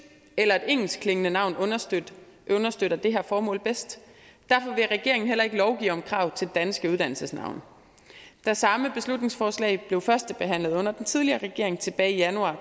eller engelskklingende navn understøtter det her formål bedst derfor vil regeringen heller ikke lovgive om krav til danske uddannelsesnavne da samme beslutningsforslag blev førstebehandlet under den tidligere regering tilbage i januar